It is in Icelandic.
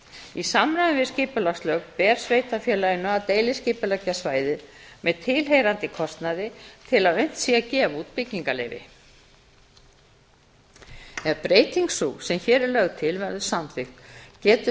í samræmi við skipulagslög ber sveitarfélaginu að deiliskipuleggja svæðið til tilheyrandi kostnaði til að unnt sé að gefa út byggingarleyfi ef breyting sú sem hér er lögð til verður samþykkt getur